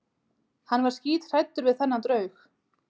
Hann var skíthræddur við þennan draug.